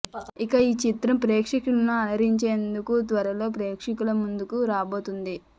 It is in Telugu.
ఇక ఈ చిత్రం ప్రేక్షకులను అలరించేందుకు త్వరలో ప్రేక్షకుల ముందుకు రాబోతుంది